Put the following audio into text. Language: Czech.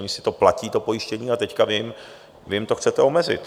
Oni si to platí to pojištění a teď vy jim to chcete omezit.